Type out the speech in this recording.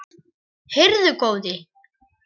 Heyrðu góði.